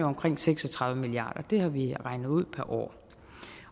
omkring seks og tredive milliard har vi regnet ud